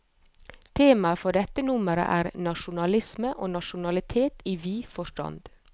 Temaet for dette nummer er, nasjonalisme og nasjonalitet i vid forstand.